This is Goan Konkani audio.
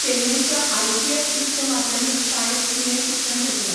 चेन्नईच्या आयसीएफ उच्च माध्यमीक शाळेंत तिणें शिक्षण घेतलें.